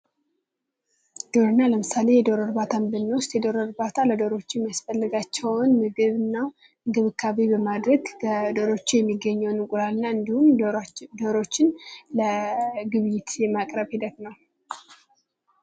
ግብርና ለምሳሌ የዶሮ እርባታ ብንወስት ለዶሮዎች የሚያስፈልጋቸውን ምግብና እንክብካቤን በማድረግ ከዶሮዎቹ የሚገኘውን እንቁላልና እንዲሁም ዶሮዎቹን ለግብይት የማቅረብ ሂደት ነው።